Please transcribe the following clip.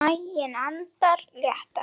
Maginn andar léttar.